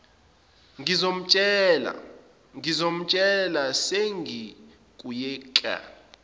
ngizomtshela sengiya kuyeke